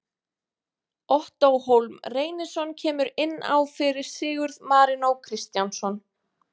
Ottó Hólm Reynisson kemur inn á fyrir Sigurð Marinó Kristjánsson.